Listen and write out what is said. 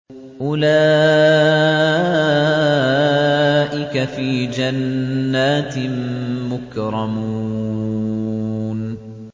أُولَٰئِكَ فِي جَنَّاتٍ مُّكْرَمُونَ